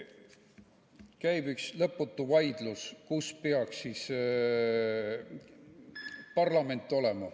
Käib üks lõputu vaidlus, kus parlament peaks olema.